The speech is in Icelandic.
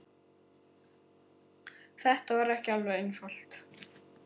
Þetta var ekki alveg einfalt